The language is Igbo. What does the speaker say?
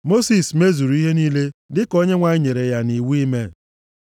Mosis mezuru ihe niile dịka Onyenwe anyị nyere ya nʼiwu ime.